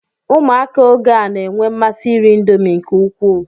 Ụmụaka oge a na-enwe mmasi iri Indomi nke ukwuu